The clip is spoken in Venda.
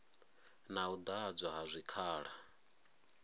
na u ḓadzwa ha zwikhala